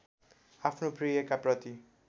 आफ्नो प्रियका प्रति